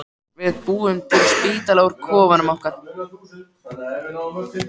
Við búum til spítala úr kofanum mínum.